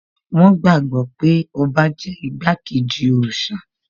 Wón gbàgbọ́ pé ọba jẹ́ igbákejì òòṣà